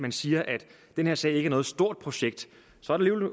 man siger at den her sag ikke er noget stort projekt så er det